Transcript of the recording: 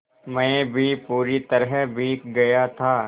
मैं भी पूरी तरह भीग गया था